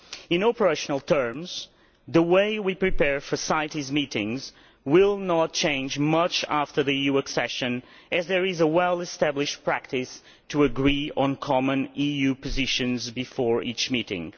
In operational terms, the way we prepare for CITES meetings will not change much after the EU accession, as there is a well established practice to agree on common EU positions before each meeting.